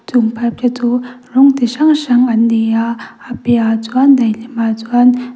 chung bar te chu rawng chi hrang hrang an nei a a piahah chuan daihlim ah chuan --